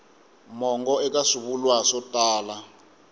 mongo eka swivulwa swo tala